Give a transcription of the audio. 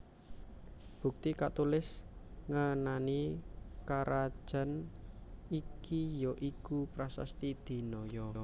Bukti katulis ngenani karajan iki ya iku Prasasti Dinoyo